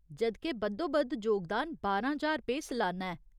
जद् के, बद्धोबद्ध जोगदान बारां ज्हार रुपेऽ सलाना ऐ।